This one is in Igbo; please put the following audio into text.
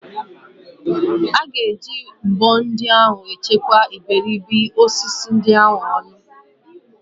A ga-eji mbọ ndị ahụ echekwa iberibe osisi ndị ahụ ọnụ.